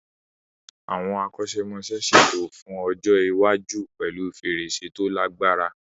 Àwọn akọ́ṣẹ́mọṣẹ́ ṣètò fún ọjọ́ iwájú pẹ̀lú fèrèsé tó lagbára.